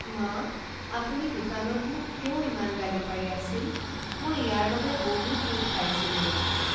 মা! আপুনি দোকানত মোক কিয় ইমান গালি পাৰি আছিল মই ইয়াৰ বাবে বহুত দুখ পাইছিলোঁ।